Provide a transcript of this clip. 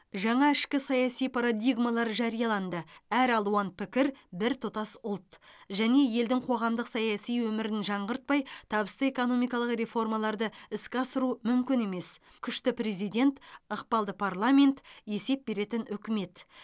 жаңа ішкі саяси парадигмалар жарияланды әр алуан пікір біртұтас ұлт және елдің қоғамдық саяси өмірін жаңғыртпай табысты экономикалық реформаларды іске асыру мүмкін емес күшті президент ықпалды парламент есеп беретін үкімет